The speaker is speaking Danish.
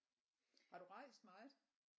Har du rejst meget?